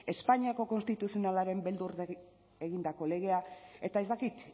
espainiako konstituzionalaren beldur egindako legea eta ez dakit